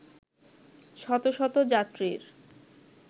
শতশত যাত্রীর